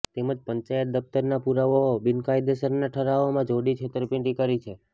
તેમજ પંચાયત દફ્તરના પુરાવાઓ બિનકાયદેસરના ઠરાવોમાં જોડી છેતરપિંડી કરી છે